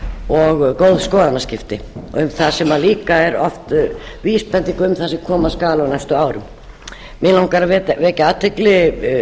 og góð skoðanaskipti og um það sem líka er oft vísbending um það sem koma skal á næstu árum mig langar til að vekja athygli